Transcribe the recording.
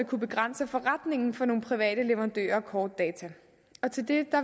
kunne begrænse forretningen for nogle private leverandører af kortdata til det